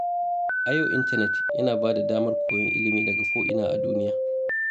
A yau, intanet yana ba da damar koyon ilimi daga ko’ina a duniya.